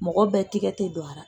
Mɔgɔ bɛɛ tɛgɛ tɛ don a la.